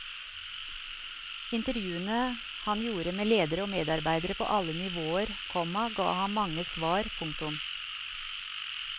Intervjuene han gjorde med ledere og medarbeidere på alle nivåer, komma ga ham mange svar. punktum